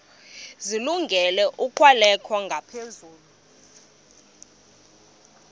zilungele ukwalekwa ngaphezulu